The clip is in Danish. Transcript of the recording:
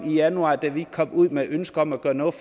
januar kom ud med et ønske om at gøre noget